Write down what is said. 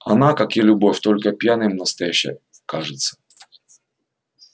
она как и любовь только пьяным настоящее кажется